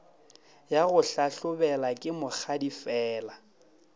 ya go hlahlobela ke mokgadifela